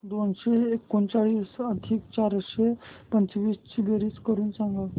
दोनशे एकोणचाळीस अधिक चारशे पंचवीस ची बेरीज करून सांगा